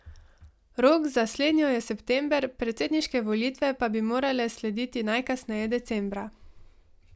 Rok za slednjo je september, predsedniške volitve pa bi morale slediti najkasneje decembra.